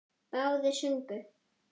Báðir sungu.